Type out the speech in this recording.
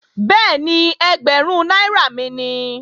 Bẹ́ẹ̀ni, ẹgbẹ̀rún náírà mi nìí